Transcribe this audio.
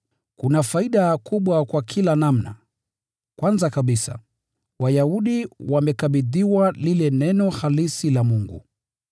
Kuna faida kubwa kwa kila namna! Kwanza kabisa, Wayahudi wamekabidhiwa lile Neno halisi la Mungu.